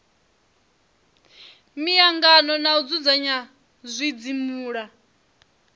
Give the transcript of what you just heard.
miangano na u dzudzanya zwidzimula